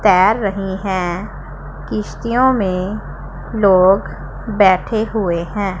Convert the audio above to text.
तैर रही हैं किश्तियों में लोग बैठे हुए हैं।